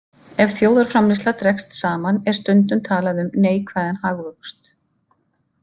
Ef þjóðarframleiðsla dregst saman er stundum talað um neikvæðan hagvöxt.